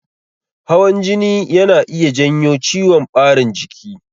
Hawan jini yana iya janyo ciwon ɓarin jiki.